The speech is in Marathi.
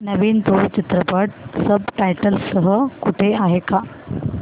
नवीन तुळू चित्रपट सब टायटल्स सह कुठे आहे का